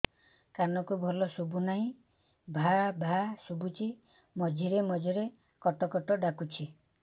କାନକୁ ଭଲ ଶୁଭୁ ନାହିଁ ଭାଆ ଭାଆ ଶୁଭୁଚି ମଝିରେ ମଝିରେ କଟ କଟ ଡାକୁଚି